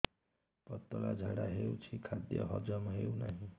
ପତଳା ଝାଡା ହେଉଛି ଖାଦ୍ୟ ହଜମ ହେଉନାହିଁ